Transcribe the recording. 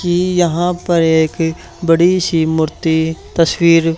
की यहां पर एक बड़ी सी मूर्ति तस्वीर--